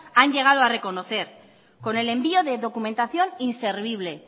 han llegado a reconocer con el envío de documentación inservible